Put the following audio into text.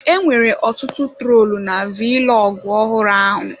Enwere ọtụtụ troolu na vilọgụ ọhụrụ ahụ.